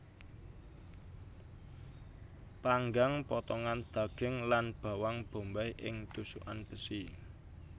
Panggang potongan daging lan bawang bombay ing tusukan besi